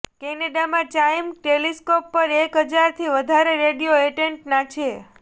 કેનેડામાં CHIME telescope પર એક હજારથી વધારે રેડિયો એન્ટેટના છે